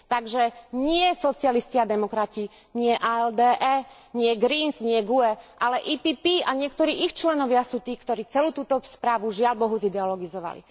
Takže nie socialisti a demokrati, nie ALDE, nie Verts ALE, nie GUE, ale PPE a niektorí ich členovia sú tí, ktorí celú túto správu, žiaľbohu, zideologizovali.